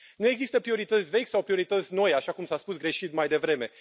Nu există priorități vechi sau priorități noi, așa cum s a spus greșit mai devreme.